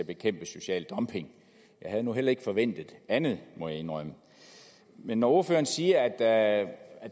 at bekæmpe social dumping jeg havde nu heller ikke forventet andet må jeg indrømme men når ordføreren siger at